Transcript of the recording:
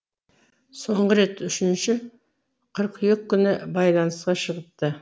соңғы рет үшінші қыркүйек күні байланысқа шығыпты